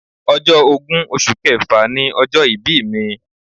Ọjọ́ ogún oṣù kẹfà ni ọjọ́ ìbí mi.